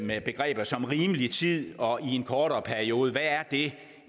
med begreber som rimelig tid og i en kortere periode hvad er det